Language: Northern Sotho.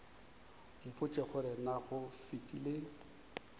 mpotše gore na go fetile